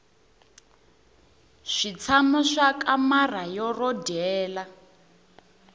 switshamo swa kamara ro dyela